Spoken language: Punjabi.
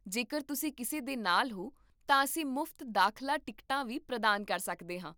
ਜੇਕਰ ਤੁਸੀਂ ਕਿਸੇ ਦੇ ਨਾਲ ਹੋ ਤਾਂ ਅਸੀਂ ਮੁਫਤ ਦਾਖਲਾ ਟਿਕਟਾਂ ਵੀ ਪ੍ਰਦਾਨ ਕਰ ਸਕਦੇ ਹਾਂ